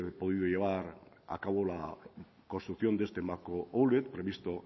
podido llevar a cabo la construcción de este macro outlet previsto